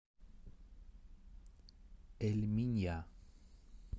эль минья